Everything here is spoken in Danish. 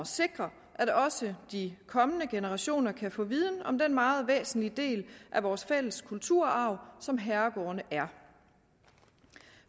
at sikre at også de kommende generationer kan få viden om den meget væsentlige del af vores fælles kulturarv som herregårdene er